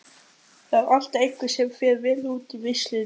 Það er alltaf einhver sem fer vel út úr vitleysunni.